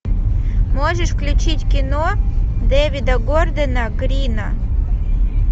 можешь включить кино дэвида гордона грина